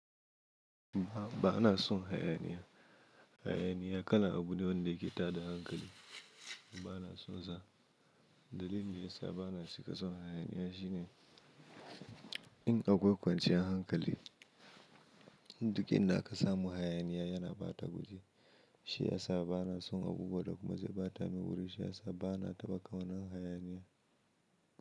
A'a ba na son hayaniya. Hayaniya kala abu ne wanda yake tada hankali. Ba na son sa. Dalilin da ya sa ba na cika son hayaniya shine in akwai kwanciyar hankali. Duk inda ka samu hayaniya yana bata guri. Shi ya sa ba na son abubuwa da kuma zai bata ni wuri. Shi ya sa ba na taɓa kaunan hayaniya.